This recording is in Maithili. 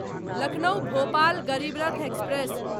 लखनऊ भोपाल गरीब रथ एक्सप्रेस